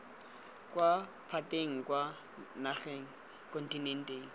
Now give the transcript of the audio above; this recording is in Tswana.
kwa lephateng kwa nageng kontinenteng